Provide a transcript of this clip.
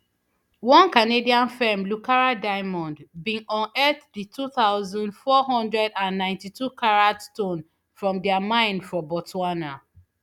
one canadian firm lucara diamond bin unearth di two thousand, four hundred and ninety-twocarat stone from dia mine for botswana